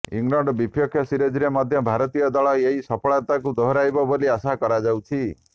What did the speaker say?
England ବିପକ୍ଷ ସିରିଜରେ ମଧ୍ୟ ଭାରତୀୟ ଦଳ ଏହି ସଫଳତାକୁ ଦୋହରାଇବ ବୋଲି ଆଶା କରାଯାଉଛି